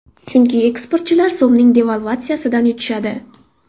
Chunki eksportchilar so‘mning devalvatsiyasidan yutishadi.